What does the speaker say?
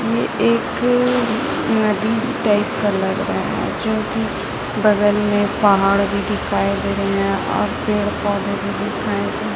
ये एक नदी टाइप का लग रहा हैं जोकि बगल में पहाड़ भी दिखाई दे रहें हैं और पेड़ पौधे भी दिखाई दे--